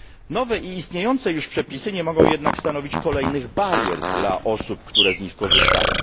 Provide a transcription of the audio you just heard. Nowe i istniejące już przepisy nie mogą jednak stanowić kolejnych barier dla osób, które z nich korzystają.